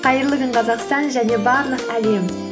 қайырлы күн қазақстан және барлық әлем